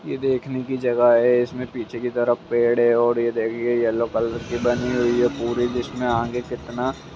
यह देख ने का जगह है इसमें पीछे की तरफ पड़े है और यह देखिए येलो कलर की बनी हुई है पूरी जिसमें आगे कितना --